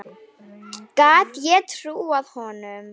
Gat ég trúað honum?